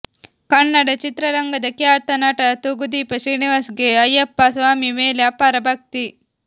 ಕನ್ನಡ ಚಿತ್ರರಂಗದ ಖ್ಯಾತ ನಟ ತೂಗುದೀಪ ಶ್ರೀನಿವಾಸ್ ಗೆ ಅಯ್ಯಪ್ಪ ಸ್ವಾಮಿ ಮೇಲೆ ಅಪಾರ ಭಕ್ತಿ